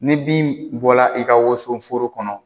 Ne bin bɔra i ka wosoforo kɔnɔ